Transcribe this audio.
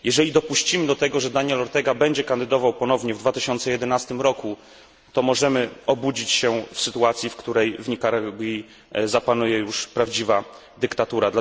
Jeżeli dopuścimy do tego, że Daniel Ortega będzie kandydował ponownie w 2011 roku, to możemy obudzić się w sytuacji, w której w Nikaragui zapanuje już prawdziwa dyktatura.